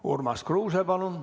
Urmas Kruuse, palun!